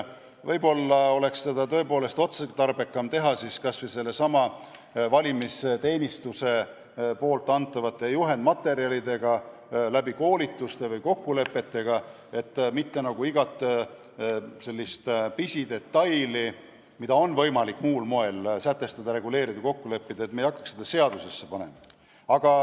Võib-olla oleks tõepoolest otstarbekam parandada olukorda kas või sellesama valimisteenistuse antava juhendmaterjali abil läbi koolituste või kokkulepete, et mitte igat pisidetaili, mida on võimalik sätestada, reguleerida, kokku leppida muul moel, ei hakataks seadusesse panema.